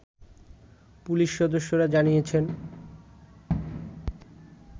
police সদস্যরা জানিয়েছেন